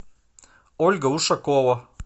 ольга ушакова